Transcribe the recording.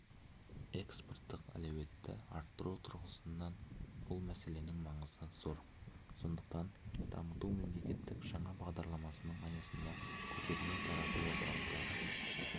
экспорттық әлеуетті арттыру тұрғысынан бұл мәселенің маңызы зор сондықтан дамыту мемлекеттік жаңа бағдарламасының аясында көтерме-тарату орталықтары